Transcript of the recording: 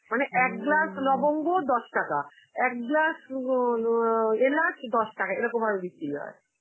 মানে এক glass লবঙ্গ দশ টাকা, এক glass উম অ এলাচ দশ টাকা এরকম ভাবে বিক্রি হয়.